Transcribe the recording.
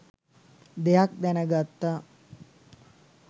දෙයක් දැනගත්තා.